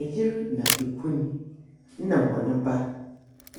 Ɛyere na ekunu nna wɔne ba,